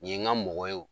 Nin ye n ka mɔgɔ ye